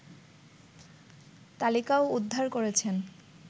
তালিকাও উদ্ধার করেছেন